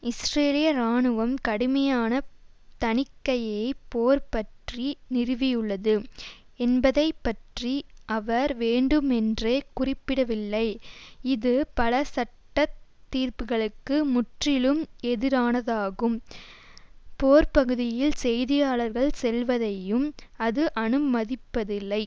இஸ்ரேலிய இராணுவம் கடுமையான தணிக்கையை போர் பற்றி நிறுவியுள்ளது என்பதை பற்றி அவர் வேண்டுமென்றே குறிப்பிடவில்லை இது பல சட்ட தீர்ப்புக்களுக்கு முற்றிலும் எதிரானதாகும் போர்ப்பகுதியில் செய்தியாளர்கள் செல்வதையும் அது அனுமதிப்பதில்லை